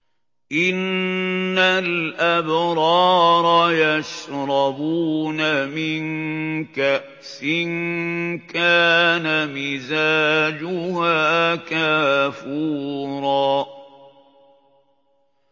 إِنَّ الْأَبْرَارَ يَشْرَبُونَ مِن كَأْسٍ كَانَ مِزَاجُهَا كَافُورًا